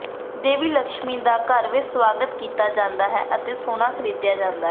ਦੇਵੀ ਲਕਸ਼ਮੀ ਦਾ ਘਰ ਵਿੱਚ ਸਵਾਗਤ ਕੀਤਾ ਜਾਂਦਾ ਹੈ ਅਤੇ ਸੋਨਾ ਖਰੀਦਿਆ ਜਾਂਦਾ ਹੈ